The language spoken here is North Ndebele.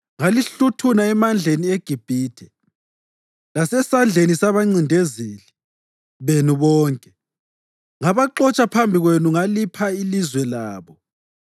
Ngalihluthuna emandleni eGibhithe lasezandleni zabancindezeli benu bonke. Ngabaxotsha phambi kwenu ngalipha ilizwe labo.